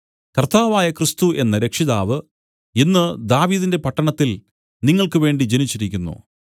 കർത്താവായ ക്രിസ്തു എന്ന രക്ഷിതാവ് ഇന്ന് ദാവീദിന്റെ പട്ടണത്തിൽ നിങ്ങൾക്ക് വേണ്ടി ജനിച്ചിരിക്കുന്നു